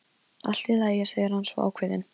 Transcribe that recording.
Allt í lagi, segir hann svo ákveðinn.